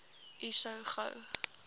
u so gou